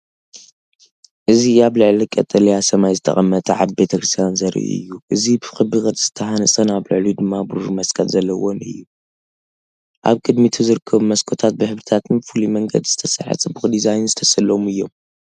እዚ ኣብ ልዕሊ ቀጠልያ ሰማይ ዝተቐመጠ ዓቢ ቤተክርስትያን ዘርኢ እዩ። እዚ ብክቢ ቅርጺ ዝተሃንጸን ኣብ ልዕሊኡ ድማ ብሩር መስቀል ዘለዎን እዩ። ኣብ ቅድሚት ዝርከቡ መስኮታት ብሕብርታትን ብፍሉይ መንገዲ ዝተሰርሐ ጽቡቕ ዲዛይንን ዝተሰለሙ እዮም።